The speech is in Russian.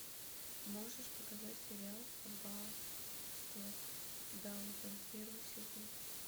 можешь показать сериал аббатство даунтон первый сезон